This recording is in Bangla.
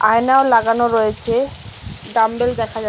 আয়নাও লাগানো রয়েছে ডাম্বেল দেখা যাচ--